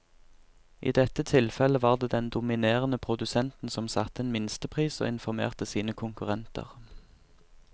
I dette tilfellet var det den dominerende produsenten som satte en minstepris og informerte sine konkurrenter.